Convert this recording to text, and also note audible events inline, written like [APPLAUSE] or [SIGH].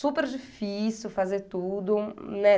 super difícil fazer tudo, [UNINTELLIGIBLE]